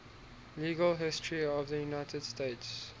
legal history of the united states